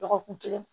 Dɔgɔkun kelen